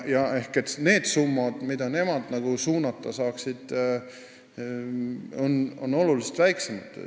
Ehk need summad, mida nemad kuhugi suunata saaksid, on oluliselt väiksemad.